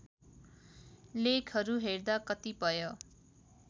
लेखहरू हेर्दा कतिपय